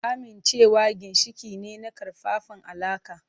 Amincewa ginshiƙi ne na ƙaƙƙarfan alaƙa.